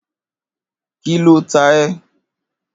Kí ló ta ẹ?